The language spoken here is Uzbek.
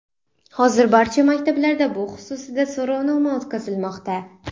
Hozir barcha maktablarda bu xususida so‘rovnoma o‘tkazilmoqda.